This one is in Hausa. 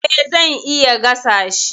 E, zan iya gasa shi.